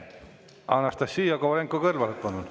Anastassia Kovalenko-Kõlvart, palun!